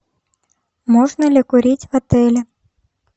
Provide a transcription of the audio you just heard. можно ли курить в отеле